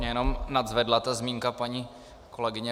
Mě jenom nadzvedla ta zmínka paní kolegyně